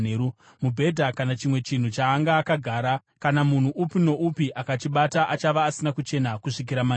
Mubhedha kana chimwe chinhu chaanga akagara, kana munhu upi noupi akachibata achava asina kuchena kusvikira manheru.